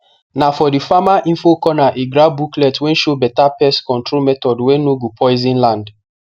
na for that farmer info corner he grab booklet wey show better pest control method wey no go poison land